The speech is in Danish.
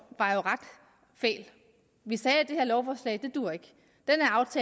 var jo ret fæl vi sagde at det her lovforslag ikke duer